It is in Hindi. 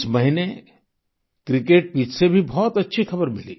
इस महीने क्रिकेट पिच से भी बहुत अच्छी खबर मिली